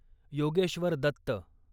Yogeshwar Dutt